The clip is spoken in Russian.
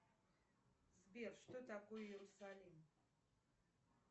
сбер что такое иерусалим